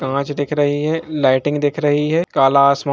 कांच दिख रही है लाइटिंग दिख रही है काला आसमान --